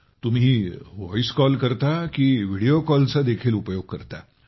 तुम्ही voice call करता की व्हिडीओ कॉलचा देखील उपयोग करता